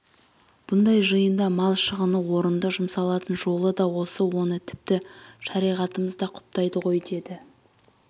бұндай жиында мал шығыны орынды жұмсалатын жолы да осы оны тіпті шариғатымыз да құптайды ғой деді